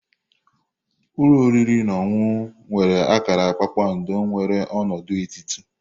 Ulo oriri na ọṅụṅụ nwere akara kpakpando nwere ọnọdụ etiti.